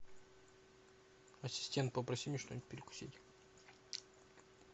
ассистент попроси мне что нибудь перекусить